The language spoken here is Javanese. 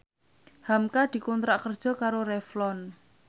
hamka dikontrak kerja karo Revlon